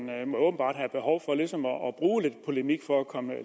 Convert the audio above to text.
må at bruge lidt polemik for at komme